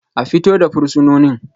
A fito da fursunonin